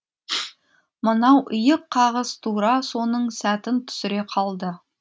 мынау иық қағыс тура соның сәтін түсіре қалды